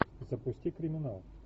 запусти криминал